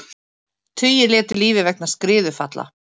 Tugir létu lífið vegna skriðufalla